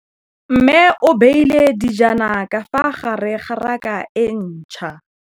Mmê o beile dijana ka fa gare ga raka e ntšha.